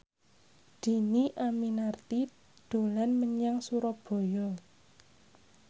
Dhini Aminarti dolan menyang Surabaya